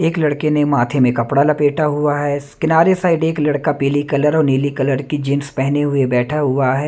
एक लड़के ने माथे में कपड़ा लपेटा हुआ है स किनारे साइड एक लड़का पीली कलर और नीली कलर की जींस पहने हुए बैठा हुआ है।